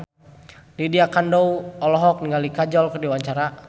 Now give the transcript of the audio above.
Lydia Kandou olohok ningali Kajol keur diwawancara